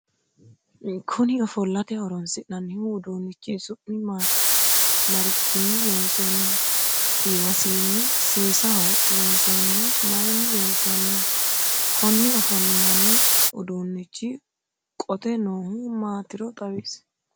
Kunni ofollate horoonsi'nanni uduunichi su'mi maati? Marichinni loonsanniho? Iimasiinni seesaho loonsoonnihu mayinni loonsoonniho? Konni ofolinnanni uduunichi qote noohu maatiro xawisi?